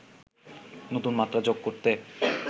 নতুন মাত্রা যোগ করতে